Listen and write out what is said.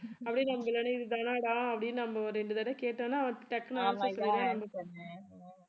அப்படியே நம்ம பின்னாடியே இருந்து என்னடா அப்படின்னு நம்ம ஒரு ரெண்டு தடவை கேட்டோம்ன்னா அவர் டக்குன்னு